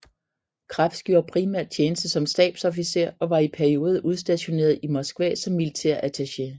Krebs gjorde primært tjeneste som stabsofficer og var i perioder udstationeret i Moskva som militærattaché